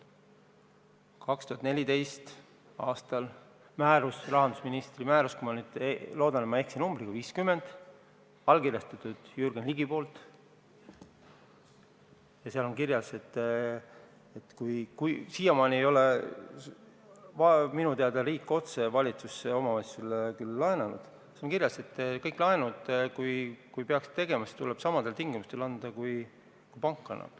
2014. aasta rahandusministri määruses – ma loodan, et ma ei eksi numbriga – nr 50, mille on allkirjastanud Jürgen Ligi, on kirjas, et kõik laenud, kui neid peaks tegema, tuleb anda samadel tingimustel, kui annab pank.